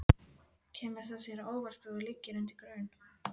Kemur það þér á óvart að þú liggir undir grun?